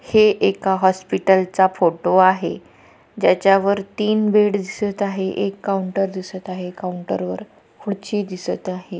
हे एका हॉस्पिटल चा फोटो आहे ज्याच्या वर तीन बेड दिसत आहे एक काऊंटर दिसत आहे काऊंटर वर खुडची दिसत आहे.